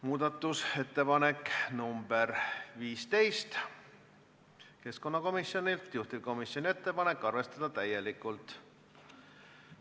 Muudatusettepanek nr 15 on keskkonnakomisjonilt, juhtivkomisjoni ettepanek on arvestada täielikult.